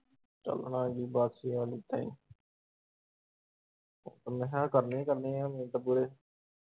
ਚੱਲ ਹੁਣ ਏਨਾ ਦੀ ਬਸ ਮੈਂ ਹਾ ਕਰਨੀਆ ਹੀ ਕਰਨੀਆ ਹੁੰਦੀਆ .